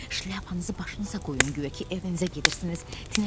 Şlyapanızı başınıza qoyun, guya ki evinizə gedirsiniz.